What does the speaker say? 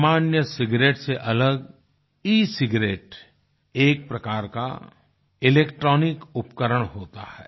सामान्य सिगारेट से अलग एसिगेरेट एक प्रकार का इलेक्ट्रॉनिक उपकरण होता है